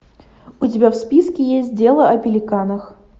у тебя в списке есть дело о пеликанах